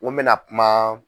N ko mɛna kuma